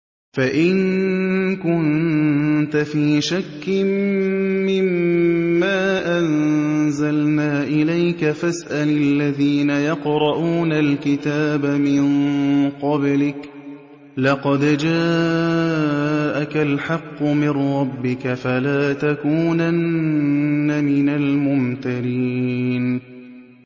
فَإِن كُنتَ فِي شَكٍّ مِّمَّا أَنزَلْنَا إِلَيْكَ فَاسْأَلِ الَّذِينَ يَقْرَءُونَ الْكِتَابَ مِن قَبْلِكَ ۚ لَقَدْ جَاءَكَ الْحَقُّ مِن رَّبِّكَ فَلَا تَكُونَنَّ مِنَ الْمُمْتَرِينَ